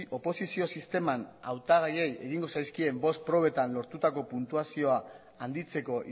oposizio sisteman hautagaiei egingo zaizkien bost probetan lortutako puntuazio handitzeko